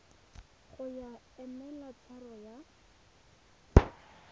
ya go emela tshwaro ya